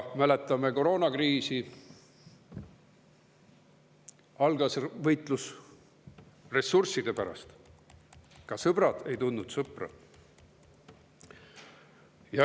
Mäletame koroonakriisi: algas võitlus ressursside pärast, ka sõber ei tundnud sõpra.